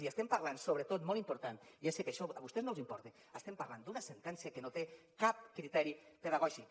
i estem parlant sobretot molt important ja sé que això a vostès no els importa d’una sentència que no té cap criteri pedagògic